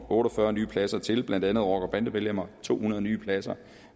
otte og fyrre nye pladser til blandt andet rocker og bandemedlemmer to hundrede nye pladser